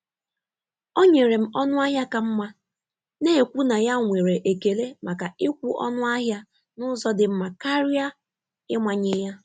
Ọ nyere m ọnụ ahịa ka mma, na-ekwu na ya nwere ekele maka ịkwụ ọnụ ahịa n’ụzọ dị mma karịa ịmanye ya.